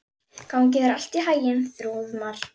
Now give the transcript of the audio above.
Gangi þér allt í haginn, Þrúðmar.